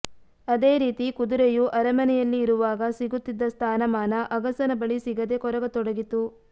ಅದೇ ರೀತಿ ಕುದುರೆಯೂ ಅರಮನೆಯಲ್ಲಿ ಇರುವಾಗ ಸಿಗುತ್ತಿದ್ದ ಸ್ಥಾನಮಾನ ಅಗಸನ ಬಳಿ ಸಿಗದೆ ಕೊರಗತೊಡಗಿತು